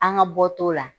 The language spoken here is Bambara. An ka bɔ t'o la